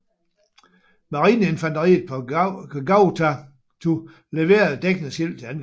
Marineinfanteriet på Gavutu leverede dækningsild til angrebet